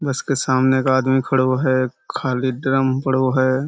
बस के सामने एक आदमी खड़ो है। खाली ड्रम पड़ो है।